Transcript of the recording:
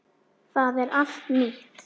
Það er allt nýtt.